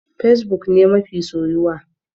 Fesbuk ne mafi soyuwa.